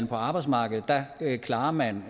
på arbejdsmarkedet klarer man